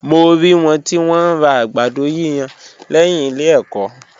Mo rí wọn tí wọ́n ń ra àgbàdo yíyan lẹ́yìn ilé ẹ̀kọ́.